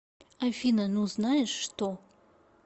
афина ну знаешь что